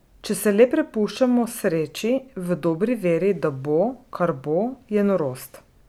Če se le prepuščamo sreči, v dobri veri, da bo, kar bo, je norost!